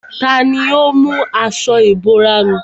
Tani ó mú aṣọ ìbora mi?